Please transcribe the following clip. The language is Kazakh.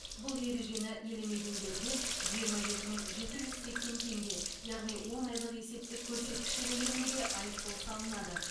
бұл ережені елемегендерге жиырма жеті мың жеті жүз сексен теңге яғни он айлық есептік көрсеткіші көлемінде айыппұл салынады